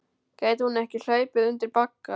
Gæti hún ekki hlaupið undir bagga?